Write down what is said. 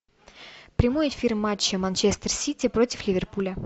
прямой эфир матча манчестер сити против ливерпуля